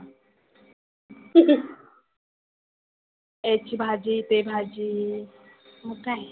याची भाजी ते भाजी मग काय.